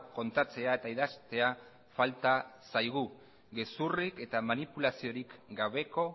kontatzea eta idaztea falta zaigu gezurrik eta manipulaziorik gabeko